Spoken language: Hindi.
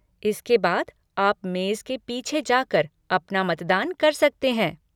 इसके बाद, आप मेज़ के पीछे जाकर अपना मतदान कर सकते हैं।